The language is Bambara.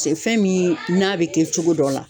fɛn min n'a bɛ kɛ cogo dɔ la.